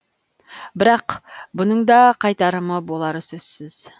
бірақ бұның да қайтарымы болары сөзсіз